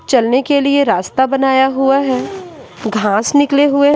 चलने के लिए रास्ता बनाया हुआ है घास निकले हुए--